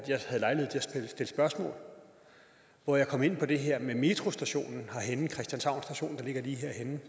stille spørgsmål og hvor jeg kom ind på det her med metrostationen der ligger lige herhenne